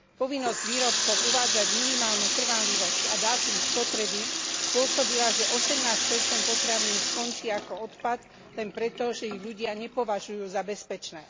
Povinnosť výrobcov uvádzať minimálnu trvanlivosť a dátum spotreby, spôsobila, že 18 potravín skončí ako odpad, len preto, že ich ľudia nepovažujú za bezpečné.